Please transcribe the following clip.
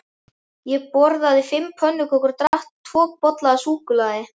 Ég borðaði fimm pönnukökur og drakk tvo bolla af súkkulaði.